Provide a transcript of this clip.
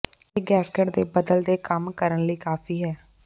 ਇਹ ਗੈਸਕਟ ਦੇ ਬਦਲ ਦੇ ਕੰਮ ਕਰਨ ਲਈ ਕਾਫ਼ੀ ਹੈ